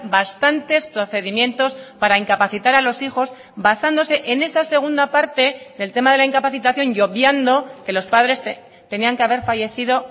bastantes procedimientos para incapacitar a los hijos basándose en esa segunda parte el tema de la incapacitación y obviando que los padres tenían que haber fallecido